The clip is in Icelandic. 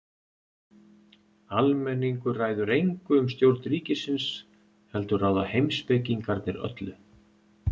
Almenningur ræður engu um stjórn ríkisins heldur ráða heimspekingarnir öllu.